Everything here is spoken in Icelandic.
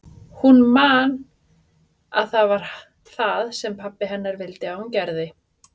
Hún man að það var það sem pabbi hennar vildi að hún gerði.